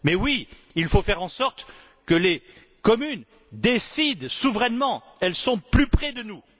Mais oui, il faut faire en sorte que les communes décident souverainement, elles sont plus près de nous.